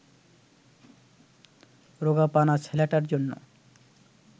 রোগাপানা ছেলেটার জন্য